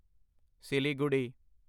Siliguri